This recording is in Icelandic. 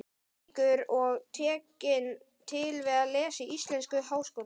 Reykjavíkur og tekin til við að lesa íslensku í Háskólanum.